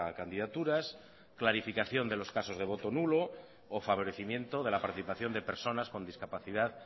candidaturas clarificación de los casos de voto nulo o favorecimiento de la participación de personas con discapacidad